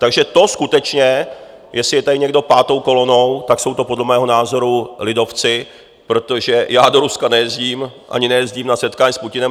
Takže to skutečně jestli je tady někdo pátou kolonou, pak jsou to podle mého názoru lidovci, protože já do Ruska nejezdím ani nejezdím na setkání s Putinem.